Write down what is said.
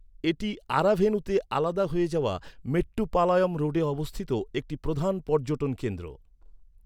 এটি আরাভেনুতে আলাদা হয়ে যাওয়া মেট্টুপালয়ম রোডে অবস্থিত একটি প্রধান পর্যটন কেন্দ্র।